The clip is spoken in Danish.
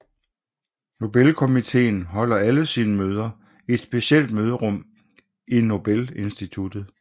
Nobelkomiteen holder alle sine møder i et specielt møderum i Nobelinstituttet